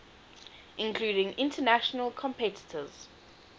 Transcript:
including international competitors